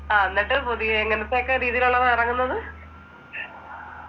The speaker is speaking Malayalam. ആഹ് എന്നിട്ട് പുതിയെ എങ്ങനെത്തെക്കെ രീതിയിലുള്ളതാ ഇറങ്ങുന്നത്